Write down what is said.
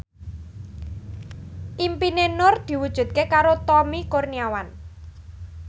impine Nur diwujudke karo Tommy Kurniawan